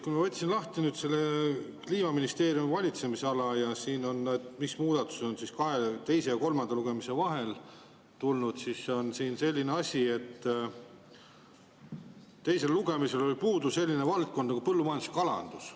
Kui ma võtsin lahti Kliimaministeeriumi valitsemisala, mis muudatused on teise ja kolmanda lugemise vahel tulnud, siis on siin selline asi, et teisel lugemisel oli puudu selline valdkond nagu põllumajandus ja kalandus.